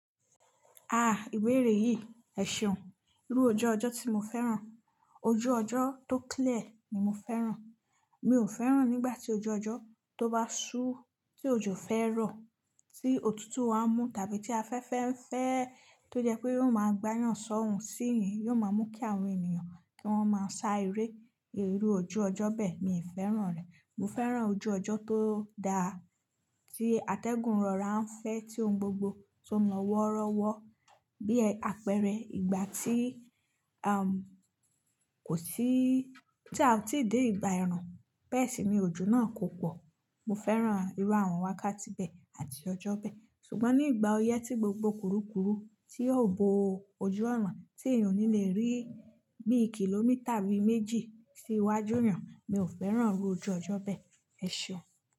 Ah! Ìbéèrè yìí, ẹ̀ṣeun irú ojú ọjọ́ tí mo fẹ́ràn, ojú ọjọ́ tó clear ni mo fẹ́ràn. Mi ò fẹ́ràn nígbà tí ojú ọjọ́ tó bá ṣú tí ojo fẹ́ rọ̀, tí òtútù á mú tàbí tí afẹ́fẹ́ ń fẹ́ tó jẹ́ pé yóò máa gbányàn sọ́hùn sí yín, yóò máa mú kí àwọn ènìyàn kí wọ́n máa sá eré. Irù ojú ọjọ́ bẹ́ẹ̀ mi ò fẹ́ràn rẹ̀. Mo fẹ́ràn ojú ọjọ́ tó dáa, tí atẹ́gùn rọra ń fẹ́, tí ohun gbogbo tó ń lọ wọ́rọ́wọ́ bí apẹ̀rẹ̀ ìgbà tí am, kò sí tí a ò tíì dé ìgbà ẹ̀run. Bẹ́ẹ̀ sì ni ojú náà kò pọ̀. Mo fẹ́ràn irú àwọn wákàtí bẹ́ẹ̀ àti ọjọ́ bẹ́ẹ̀. Ṣùgbọ́n ní ìgbà oyẹ́ tí gbogbo kurukuru tí yóò bo ojú ọ̀ràn tí èèyàn ò ní le rí bí i kìlómítà bíi méjì sí iwájú èèyàn, mi ò fẹ́ràn irú ojú ọjọ́ bẹ́ẹ̀. Ẹ̀ṣeun.